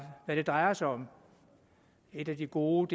hvad det drejer sig om et af de gode